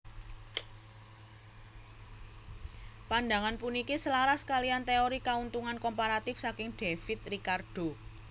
Pandangan puniki selaras kaliyan téori Kauntungan Komparatif saking David Ricardo